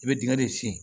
I bɛ dingɛ de sen